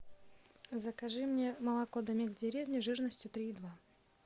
закажи мне молоко домик в деревне жирностью три и два